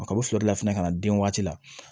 A ka fila de labɛn ka na den waati la